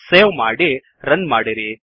save ಮಾಡಿ run ಮಾಡಿರಿ